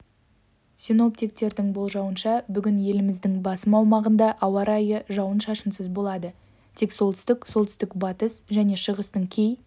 синоптиктердің болжауынша бүгін еліміздің басым аумағында ауа райы жауын-шашынсыз болады тек солтүстік солтүстік-батыс және шығыстың кей